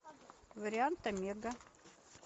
вариант омега